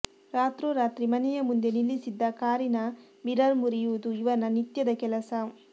ರಾತ್ರೋರಾತ್ರಿ ಮನೆಯ ಮುಂದೆ ನಿಲ್ಲಿಸಿದ್ದ ಕಾರಿನ ಮಿರರ್ ಮುರಿಯುವುದು ಇವನ ನಿತ್ಯದ ಕೆಲಸ